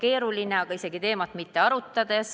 Öeldakse, et süsteem on keeruline.